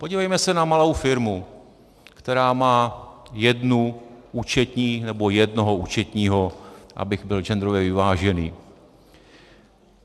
Podívejme se na malou firmu, která má jednu účetní - nebo jednoho účetního, abych byl genderově vyvážený.